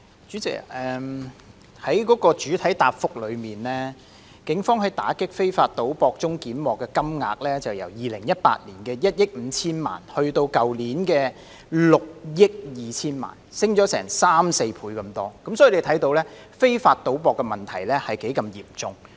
主席，根據主體答覆，警方在打擊非法賭博中檢獲的金額，由2018年的1億 5,000 萬元增至去年的6億200萬元，上升了三四倍之多，由此可見非法賭博的問題有多嚴重。